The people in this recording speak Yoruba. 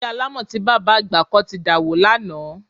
Ilé alámọ̀ tí bàbá àgbà kọ́ ti dàwó lánàá